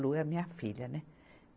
Lu é a minha filha, né?